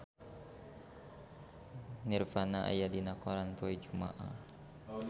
Nirvana aya dina koran poe Jumaah